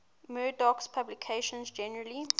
murdoch's publications generally